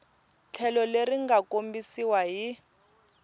tlhelo leri nga kombisiwa hi